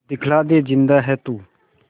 दिखला दे जिंदा है तू